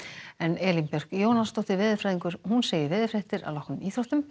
Elín Björk Jónasdóttir veðurfræðingur segir veðurfréttir að loknum íþróttum